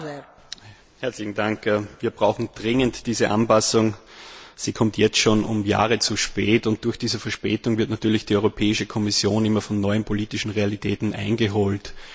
Frau Präsidentin! Wir brauchen dringend diese Anpassung! Sie kommt jetzt schon um Jahre zu spät, und durch diese Verspätung wird natürlich die Europäische Kommission immer von neuen politischen Realitäten eingeholt.